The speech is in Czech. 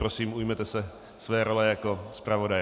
Prosím, ujměte se své role jako zpravodaj.